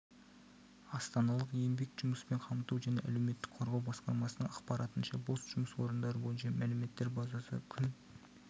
астаналық еңбек жұмыспен қамту және әлеуметтік қорғау басқармасының ақпаратынша бос жұмыс орындары бойынша мәліметтер базасы күн